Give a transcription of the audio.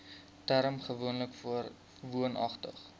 term gewoonlik woonagtig